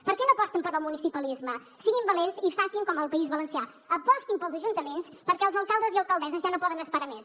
per què no aposten pel municipalisme siguin valents i facin com el país valencià apostin pels ajuntaments perquè els alcaldes i alcaldesses ja no poden esperar més